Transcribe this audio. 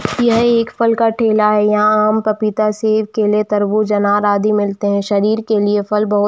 यह एक फल का ठेला है आम पपीता सेब केले तरबूज अनार आम आदी मिलते हैं शरीर के लिए फल बहुत --